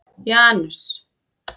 Janus